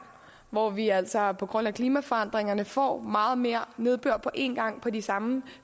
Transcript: hvor vi altså på grund af klimaforandringerne får meget mere nedbør på én gang de samme